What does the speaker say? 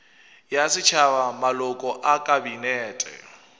ya setšhaba maloko a kabinete